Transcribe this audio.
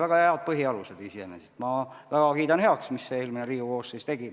Väga head põhialused iseenesest, ma väga kiidan heaks, mis eelmine Riigikogu koosseis tegi.